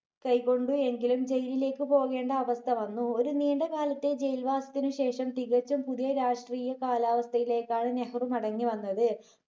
കൈകൊണ്ടു എങ്കിലും jail ഇലേക്ക് പോകേണ്ട അവസ്ഥ വന്നു. ഒരു നീണ്ട കാലത്തെ jail വാസത്തിനു ശേഷം തികച്ചും പുതിയ രാഷ്ട്രീയ കാലാവസ്ഥയിലേക്കാണ് നെഹ്‌റു മടങ്ങി വന്നത്.